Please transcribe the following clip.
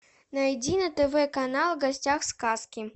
найди на тв канал в гостях у сказки